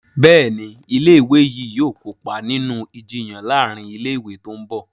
Béèni ilé ìwé yí yóò kópa nínú Ìjiyàn láàrin ilé ìwé tó ńbo.